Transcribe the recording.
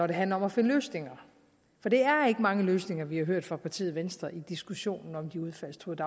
det handler om at finde løsninger det er ikke mange løsninger vi har hørt fra partiet venstre i diskussionen om de udfaldstruede